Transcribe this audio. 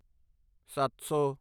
ਸੱਤ ਸੌ